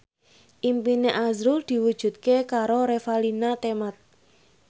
impine azrul diwujudke karo Revalina Temat